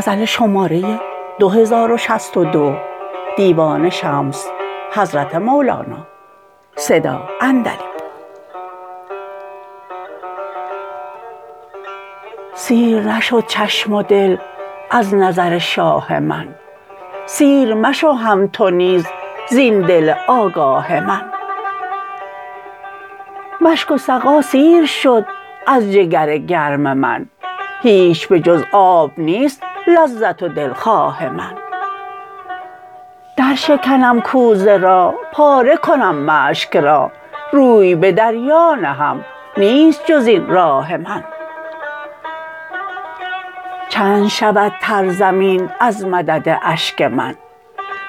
سیر نشد چشم و دل از نظر شاه من سیر مشو هم تو نیز زین دل آگاه من مشک و سقا سیر شد از جگر گرم من هیچ به جز آب نیست لذت و دلخواه من درشکنم کوزه را پاره کنم مشک را روی به دریا نهم نیست جز این راه من چند شود تر زمین از مدد اشک من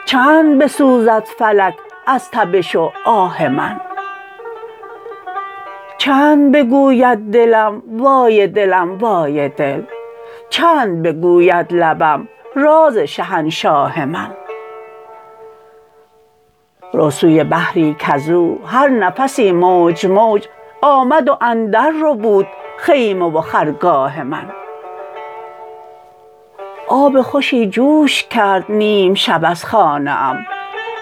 چند بسوزد فلک از تبش و آه من چند بگوید دلم وای دلم وای دل چند بگوید لبم راز شهنشاه من رو سوی بحری کز او هر نفسی موج موج آمد و اندرربود خیمه و خرگاه من آب خوشی جوش کرد نیم شب از خانه ام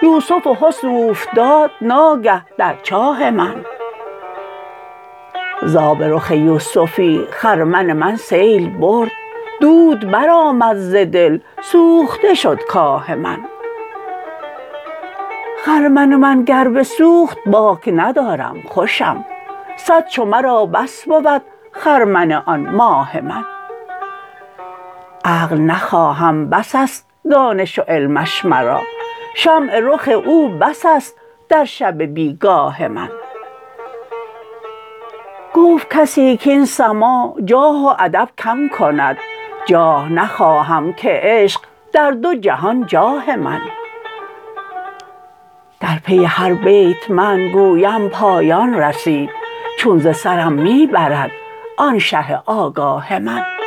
یوسف حسن اوفتاد ناگه در چاه من ز آب رخ یوسفی خرمن من سیل برد دود برآمد ز دل سوخته شد کاه من خرمن من گر بسوخت باک ندارم خوشم صد چو مرا بس بود خرمن آن ماه من عقل نخواهم بس است دانش و علمش مرا شمع رخ او بس است در شب بی گاه من گفت کسی کاین سماع جاه و ادب کم کند جاه نخواهم که عشق در دو جهان جاه من در پی هر بیت من گویم پایان رسید چون ز سرم می برد آن شه آگاه من